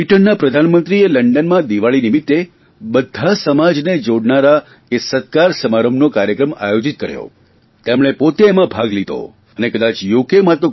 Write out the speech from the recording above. બ્રિટનના પ્રધાનમંત્રીએ લંડનમાં દિવાળી નિમિત્તે બધા સમાજને જોડનારા એ સત્કાર સમારંભનો કાર્યક્રમ આયોજીત કર્યો તેઓ પોતે એમાં ભાલ લીધો અને કદાચ યુ